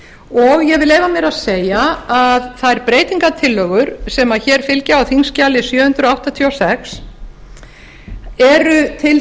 og ég vil leyfa mér að segja að þær breytingartillögur sem hér fylgja á þingskjali sjö hundruð áttatíu og sex eru til